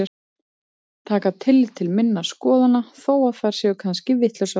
Taka tillit til minna skoðana þó að þær séu kannski vitlausar.